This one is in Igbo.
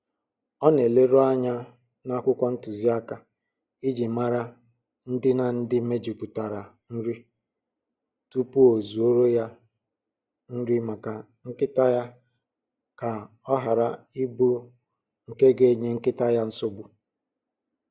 Ọ na-eleru anya n'akwụkwọ ntụziaka iji mara ndịna ndị mejupụtara nri tupu ọ zụọrọ ya nri maka nkịta ya ka ọ hara ịbụ nke ga-enye nkịta ya nsogbu